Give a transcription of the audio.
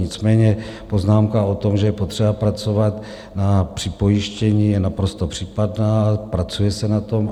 Nicméně poznámka o tom, že je potřeba pracovat na připojištění, je naprosto případná, pracuje se na tom.